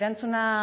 erantzuna